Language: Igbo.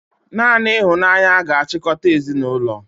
Naanị ịhụnanya ga-achịkọta ezinụlọ